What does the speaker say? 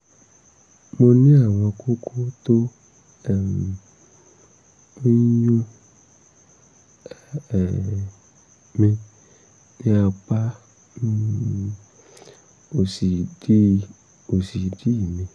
mo ní àwọn kókó tó um ń yún um mí ní apá um òsì ìdí òsì ìdí mi